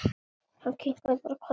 Hann kinkaði bara kolli.